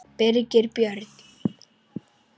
Birgir Björn